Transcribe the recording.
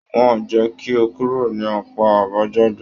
Wọn jẹ kí o kúrò ní apá àbájáde.